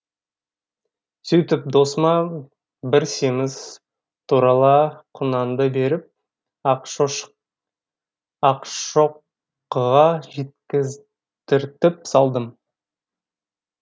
сөйтіп досыма бір семіз торала құнанды беріп ақшоқыға жеткіздіртіп салдым